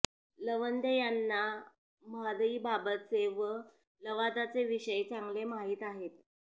लवंदे यांना म्हादईबाबतचे व लवादाचे विषय चांगले माहीत आहेत